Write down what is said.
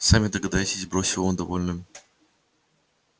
сами догадайтесь бросил он довольно